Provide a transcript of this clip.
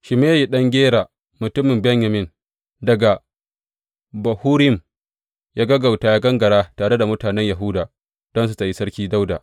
Shimeyi ɗan Gera, mutumin Benyamin daga Bahurim ya gaggauta, ya gangara tare da mutanen Yahuda don su taryi Sarki Dawuda.